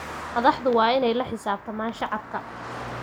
Madaxdu waa in ay la xisaabtamaan shacabka.